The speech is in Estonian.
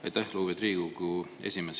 Aitäh, lugupeetud Riigikogu esimees!